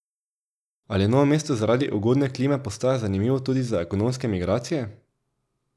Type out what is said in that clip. Ali Novo mesto zaradi ugodne klime postaja zanimivo tudi za ekonomske migracije?